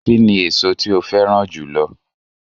Kíni èso tí o féràn jùlo